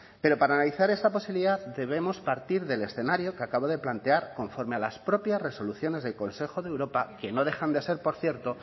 pero para analizar esta posibilidad debemos partir del escenario que acabo de plantear conforme a las propias resoluciones del consejo de europa que no dejan de ser por cierto